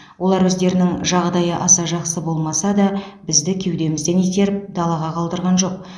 олар өздерінің жағдайы аса жақсы болмаса да бізді кеудемізден итеріп далаға қалдырған жоқ